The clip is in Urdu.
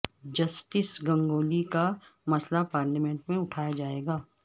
جسٹس گنگولی کا مسئلہ پارلیمنٹ میں اٹھایا جائے گا